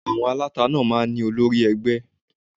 À̀wọn aláta náà máa ń ní olórí ẹgbẹ́